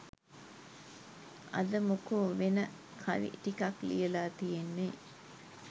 අද මොකෝ වෙන කවි ටිකක් ලියලා තියෙන්නේ